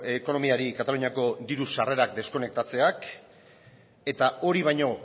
ekonomiari kataluniako diru sarrerak deskonektatzeak eta hori baino